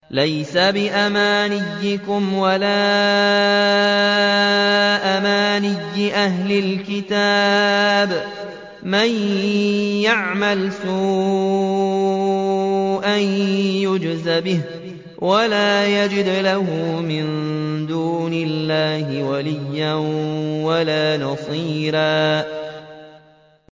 لَّيْسَ بِأَمَانِيِّكُمْ وَلَا أَمَانِيِّ أَهْلِ الْكِتَابِ ۗ مَن يَعْمَلْ سُوءًا يُجْزَ بِهِ وَلَا يَجِدْ لَهُ مِن دُونِ اللَّهِ وَلِيًّا وَلَا نَصِيرًا